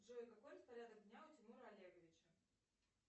джой какой распорядок дня у тимура олеговича